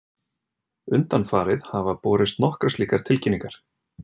Undanfarið hafa borist nokkrar slíkar tilkynningar